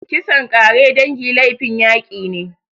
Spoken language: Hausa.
Kisan ƙare dangi laifin yaki ne.